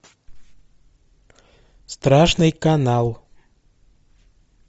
страшный канал